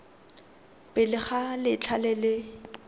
pele ga letlha le le